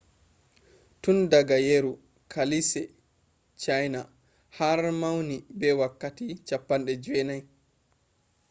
tun daga yeru kaalise chiana har mauni be wakkatti 90